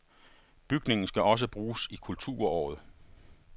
Bygningen skal også bruges i kulturåret